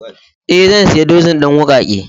Eh zan siya dozin din wuƙake.